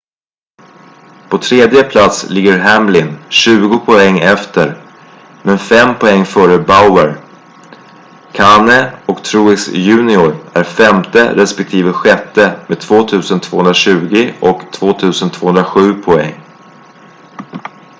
på tredje plats ligger hamlin tjugo poäng efter men fem poäng före bowyer kahne och truex jr är femte respektive sjätte med 2,220 och 2,207 poäng